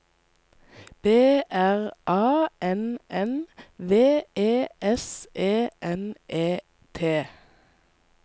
B R A N N V E S E N E T